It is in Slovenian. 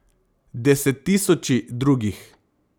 Desettisoči drugih.